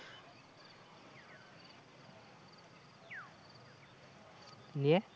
নিয়ে